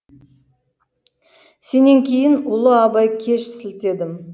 сенен кейін ұлы абаи кеш сілтедім